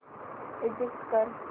exit कर